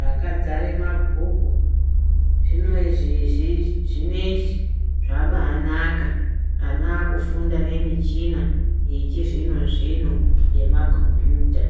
rakadzare mabhuku zvinezvi zvabai naka ana akufunda nemichina yechi zvino zvino yema kombuyuta.